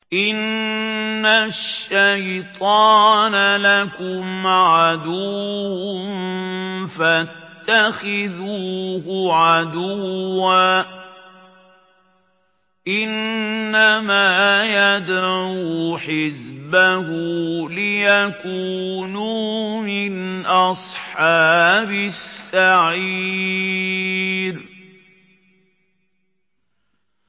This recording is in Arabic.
إِنَّ الشَّيْطَانَ لَكُمْ عَدُوٌّ فَاتَّخِذُوهُ عَدُوًّا ۚ إِنَّمَا يَدْعُو حِزْبَهُ لِيَكُونُوا مِنْ أَصْحَابِ السَّعِيرِ